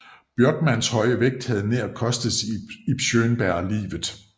Bjørkmans høje vægt havde nær kostet Ib Schønberg livet